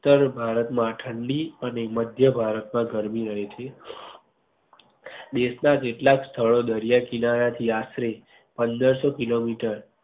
ઉત્તર ભારત માં ઠંડી અને મધ્ય ભારત માં ગરમી થઇ છે. છે દેશ ના કેટલાક સ્થળો દરિયા કિનારા થી આશરે પંદર સો kilometer